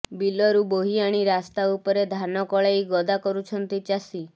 ବିଲରୁ ବୋହି ଆଣି ରାସ୍ତା ଉପରେ ଧାନ କଳେଇ ଗଦା କରୁଛନ୍ତି ଚାଷୀ